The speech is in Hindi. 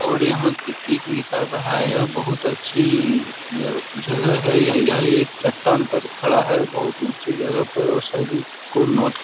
और यहाँ की पीक निकाल रहा है यह बहुत अच्छी अ जगह है य यह एक चट्टान पर खड़ा है बहुत ऊंचे जगह पर ओर सभी को नोट --